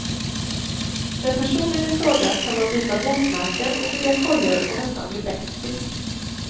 Med personen ifråga kan man byta bokmärken och bygga kojor och nästan bli bästis.